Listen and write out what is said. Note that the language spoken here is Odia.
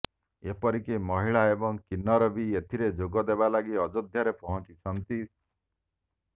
ଏପରିକି ମହିଳା ଏବଂ କିନ୍ନର ବି ଏଥିରେ ଯୋଗ ଦେବା ଲାଗି ଅଯୋଧ୍ୟାରେ ପହଞ୍ଚିଛନ୍ତି